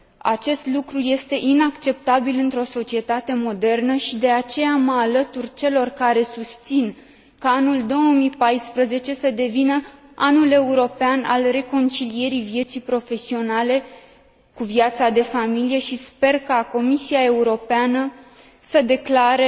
Acest lucru este inacceptabil într o societate modernă și de aceea mă alătur celor care susțin ca anul 2014 să devină Anul European al Reconcilierii Vieții Profesionale cu Viața de Familie și sper ca Comisia Europeană să l declare